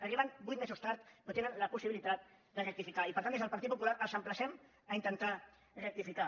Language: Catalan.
arriben vuit mesos tard però tenen la possibilitat de rectificar i per tant des del partit popular els emplacem a intentar rectificar